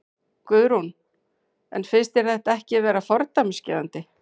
Guðrún: En finnst þér þetta ekki vera fordæmisgefandi?